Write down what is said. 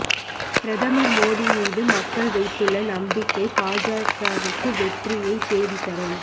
பிரதமர் மோடி மீது மக்கள் வைத்துள்ள நம்பிக்கை பாஜகவுக்கு வெற்றியைத் தேடித்தரும்